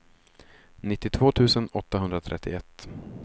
nittiotvå tusen åttahundratrettioett